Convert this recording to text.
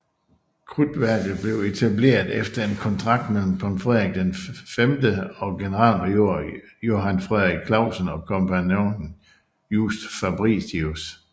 Krudtværket blev etableret efter en kontrakt mellem kong Frederik V og generalmajor Johan Frederik Classen og kompagnonen Just Fabritius